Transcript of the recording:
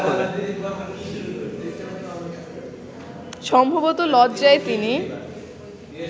সম্ভবত লজ্জায় তিনি